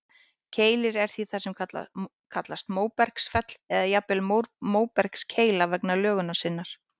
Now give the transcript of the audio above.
Keilir er því það sem kallast móbergsfell, eða jafnvel móbergskeila vegna lögunar sinnar.